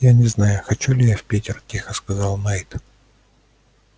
я не знаю хочу ли я в питер тихо сказал найд